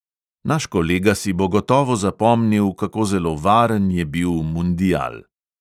Naš kolega si bo gotovo zapomnil, kako zelo varen je bil mundial.